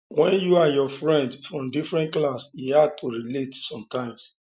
when you and your friend from different class e hard to relate sometimes